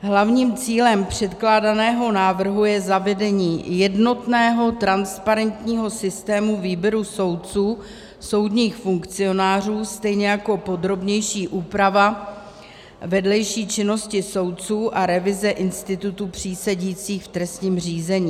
Hlavním cílem předkládaného návrhu je zavedení jednotného transparentního systému výběru soudců, soudních funkcionářů, stejně jako podrobnější úprava vedlejší činnosti soudců a revize institutu přísedících v trestním řízení.